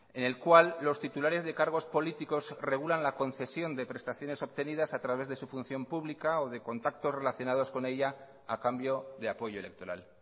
en el cual los titulares de cargos políticos regulan la concesión de prestaciones obtenidas a través de su función pública o de contactos relacionados con ella a cambio de apoyo electoral